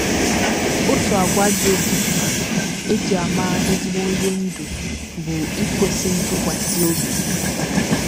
OTU àgwà dị oké mkpa e ji ama ezigbo onye ndú bụ ikwesị ntụkwasị obi.